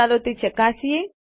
ચાલો તે ચકાસીએ